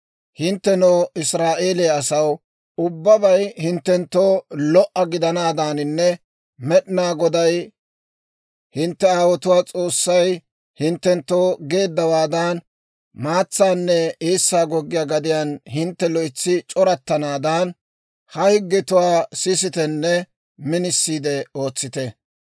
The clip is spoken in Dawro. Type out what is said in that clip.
Hinttenoo Israa'eeliyaa asaw, ubbabay hinttenttoo lo"a gidanaadaaninne Med'inaa Goday, hintte aawotuwaa S'oossay, hinttenttoo geeddawaadan, maatsaanne eessaa goggiyaa gadiyaan hintte loytsi c'orattanaadan, ha higgetuwaa sisitenne minisiide ootsite.